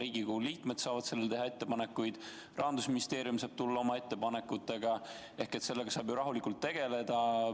Riigikogu liikmed saaksid selle kohta ettepanekuid teha, ka Rahandusministeerium saaks tulla oma ettepanekutega – selle teemaga saaks rahulikult edasi tegeleda.